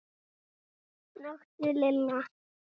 snökti Lilla.